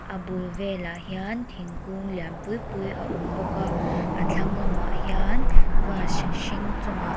a bul velah hian thingkung lian pui pui a awm bawk a a thlang lamah hian grass hring chung ah--